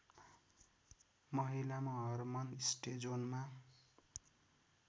महिलामा हर्मन स्टेजोनमा